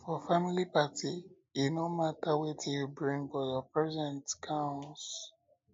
for family party e no matter wetin you bring but your presence count